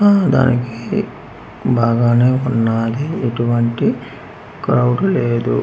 ఆ దానికి బాగానే ఉన్నాది ఇటువంటి క్రౌడ్ లేదు.